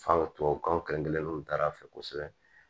Fan tubabukanw kelen-kelenninw taara a fɛ kosɛbɛ